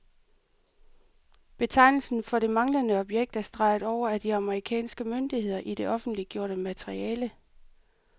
Betegnelsen for det manglende objekt er streget over af de amerikanske myndigheder i det offentliggjorte materiale.